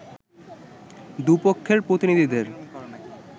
দু’পক্ষের প্রতিনিধিদের